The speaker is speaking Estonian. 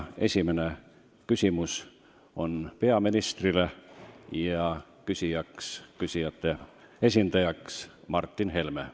Esimene küsimus on peaministrile ja küsijate esindaja on Martin Helme.